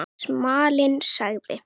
Smalinn sagði